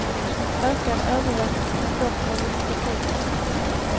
Ökad övervakning kan dock ha viss betydelse.